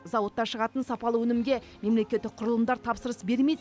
зауытта шығатын сапалы өнімге мемлекеттік құрылымдар тапсырыс бермейді